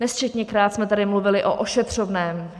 Nesčetněkrát jsme tady mluvili o ošetřovném.